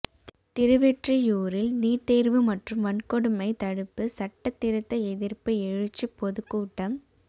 திருவெற்றியூரில் NEET தேர்வு மற்றும் வன்கொடுமை தடுப்பு சட்டத் திருத்த எதிர்ப்பு எழுச்சிப் பொதுக்கூட்டம்